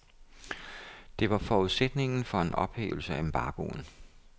Det var forudsætningen for en ophævelse af embargoen.